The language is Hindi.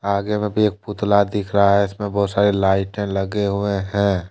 आगे मे भी एक पुतला दिख रहा है। इसमे बहुत सारी लाइटे लगे हुए है।